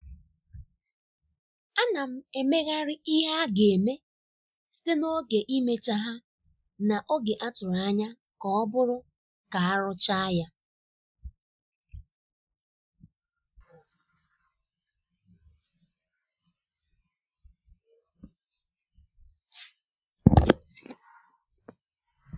a na m emegharị ihe aga-eme site na oge imecha ha na oge a tụrụ anya ka ọbụrụ ka arụcha ya.